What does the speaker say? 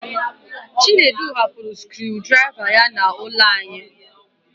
Chinedu hapụrụ scruu draiva ya n'ụlọ anyị